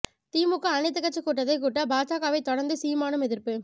திமுக அனைத்து கட்சி கூட்டத்தை கூட்ட பாஜகவைத் தொடர்ந்து சீமானும் எதிர்ப்பு